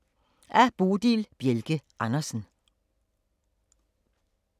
Af Bodil Bjelke Andersen